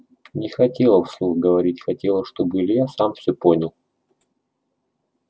не хотела вслух говорить хотела чтобы илья сам всё понял